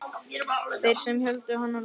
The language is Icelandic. Þeir sem héldu létu hann lausan.